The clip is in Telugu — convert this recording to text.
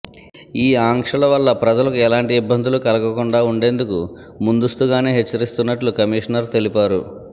ఈ ఆంక్షల వల్ల ప్రజలకు ఎలాంటి ఇబ్బందులు కలగకుండా ఉండేందుకు ముందస్తుగానే హెచ్చరిస్తున్నట్లు కమీషనర్ తెలిపారు